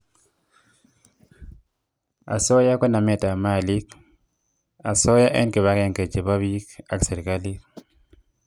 asoya ko namet ab malik , asoya eng kibagenge chebo piik ak serikalit